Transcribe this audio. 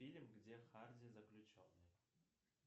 фильм где харди заключенный